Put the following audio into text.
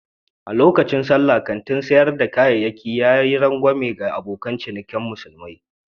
A lokacin Sallah, kantin sayar da kayayyaki ya yi rangwame ga abokan cinikin musulmi.